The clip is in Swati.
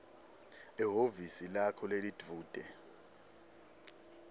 ehhovisi lakho lelidvute